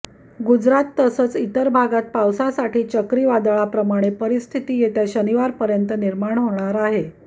गुजरात तसचं इतर भागात पावसासाठी चक्रीवादळाप्रमाणे परिस्थिती येत्या शनिवारपर्यंत निर्माण होणार आहे